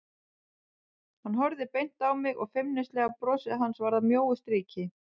Hann horfði beint á mig og feimnislega brosið hans varð að mjóu striki.